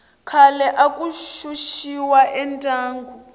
khale aku xuxiwa endyangu